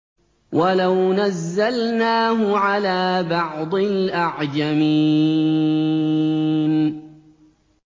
وَلَوْ نَزَّلْنَاهُ عَلَىٰ بَعْضِ الْأَعْجَمِينَ